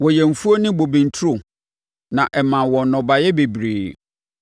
Wɔyɛɛ mfuo ne bobe nturo na ɛmaa wɔn nnɔbaeɛ bebree.